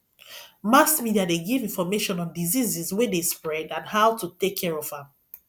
mass media de give information on diseases wey de spread and how to take care of am